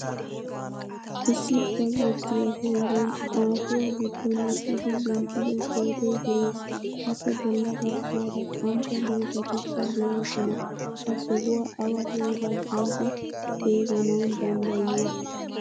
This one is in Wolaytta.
Issi bazzotiyaa heeran aafuwaa giddon eqqidi denttido pootoy de'ees. Appe bolla baggaara qantta dozatikka deosona. Ha sohuwaa awa heeraa giidi xeeganawu danddayiyo?